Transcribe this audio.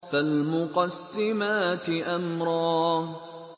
فَالْمُقَسِّمَاتِ أَمْرًا